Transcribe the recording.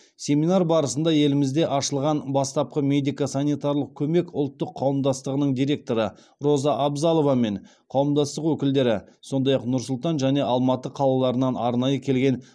семинар барысында елімізде ашылған бастапқы медико санитарлық көмек ұлттық қауымдастығының директоры роза абзалова мен қауымдастық өкілдері сондай ақ нұр сұлтан және алматы қалаларынан арнайы келген